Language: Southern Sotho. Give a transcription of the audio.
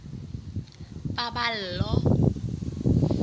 paballo